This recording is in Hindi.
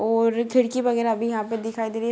और खिड़की वगैरा भी यहाँ पे दिखाई दे रही हैं।